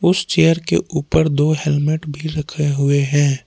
उस चेयर के ऊपर दो हेलमेट भी रखे हुए हैं।